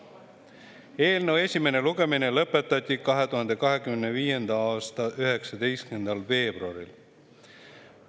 Eelnõu esimene lugemine lõpetati 2025. aasta 19. veebruaril.